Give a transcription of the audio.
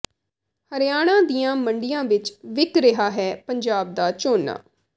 ਹਰਿਆਣਾ ਦੀਆਂ ਮੰਡੀਆਂ ਵਿੱਚ ਵਿਕ ਰਿਹਾ ਹੈ ਪੰਜਾਬ ਦਾ ਝੋਨਾ